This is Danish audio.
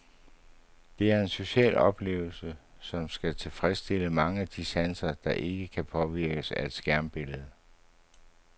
Det er en social oplevelse, som skal tilfredsstille mange af de sanser, der ikke kan påvirkes af et skærmbillede.